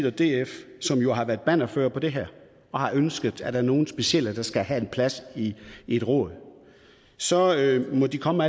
og df som jo har været bannerførere for det her ønsker at der er nogle specielle personer der skal have plads i et råd så må de komme